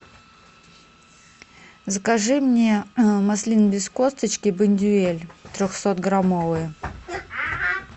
закажи мне маслины без косточки бондюэль трехсот граммовые